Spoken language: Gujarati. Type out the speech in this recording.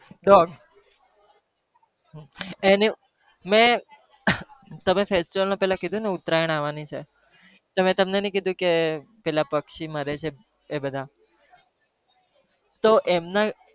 dog મેં તમે પહેલા કીધું ને festival માં ના કીધું કે ઉતરાયણ આવાની છે, તો મેં તમને નહિ કીધું કે પેલા પક્ષી મરે છે, એ બધા તો એમના